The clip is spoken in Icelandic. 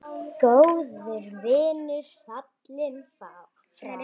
Góður vinur fallinn frá.